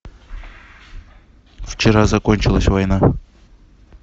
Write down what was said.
вчера закончилась война